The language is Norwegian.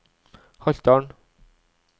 Haltdalen